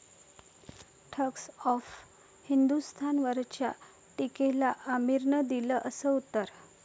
thugs of हिंदोस्तान'वरच्या टीकेला आमिरनं दिलं 'असं' उत्तर